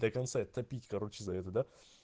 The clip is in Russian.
до конца и топить короче за это да